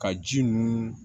Ka ji nun